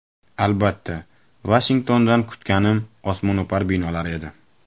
Albatta, Vashingtondan kutganim osmono‘par binolar edi.